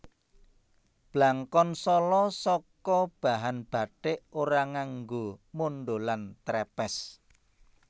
Blangkon Sala saka bahan bathik ora nganggo mondholan trèpès